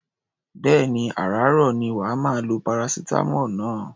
Bẹ́ẹ̀ni, àràáàrọ̀ ni wà á máa lo paracetamol náà.